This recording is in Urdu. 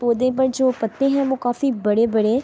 پڑھے پر جو پتے ہے وو کافی بڑے بڑے--